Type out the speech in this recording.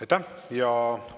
Aitäh!